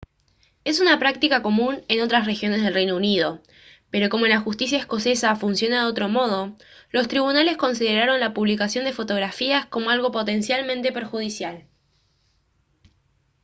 es una práctica común en otras regiones del reino unido pero como la justicia escocesa funciona de otro modo los tribunales consideraron la publicación de fotografías como algo potencialmente perjudicial